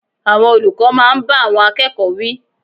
Àwọn olùkọ́ máa ń bá àwọn akẹ́kọ̀ọ́ wí.